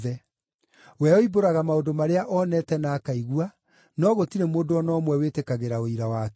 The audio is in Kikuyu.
We oimbũraga maũndũ marĩa onete na akaigua no gũtirĩ mũndũ o na ũmwe wĩtĩkagĩra ũira wake.